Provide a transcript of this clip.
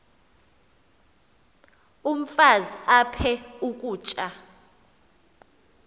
umfaz aphek ukutya